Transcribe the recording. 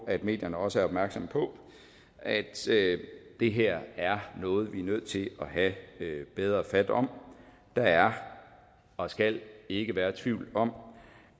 at medierne også er opmærksomme på at det her er noget vi er nødt til at have bedre fat om der er og skal ikke være tvivl om